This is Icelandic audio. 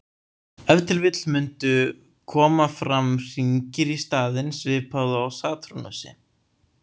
Ef til vill mundu koma fram hringir í staðinn, svipað og á Satúrnusi.